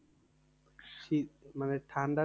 শীত মানে ঠান্ডা